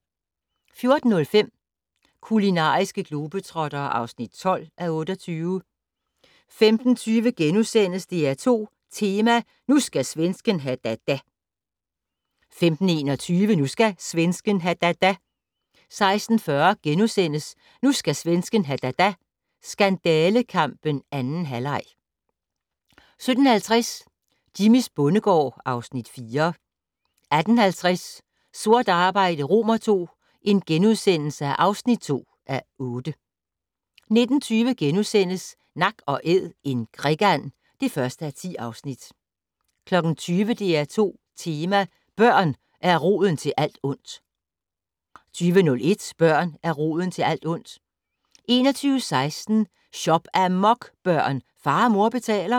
14:05: Kulinariske globetrottere (12:28) 15:20: DR2 Tema: Nu skal svensken ha da da * 15:21: Nu skal svensken ha da da * 16:40: Nu skal svensken ha da da - skandalekampen 2. halvleg * 17:50: Jimmys bondegård (Afs. 4) 18:50: Sort arbejde II (2:8)* 19:20: Nak & Æd - en krikand (1:10)* 20:00: DR2 Tema: Børn er roden til alt ondt 20:01: Børn er roden til alt ondt 21:16: Shop-amok, børn! Far og mor betaler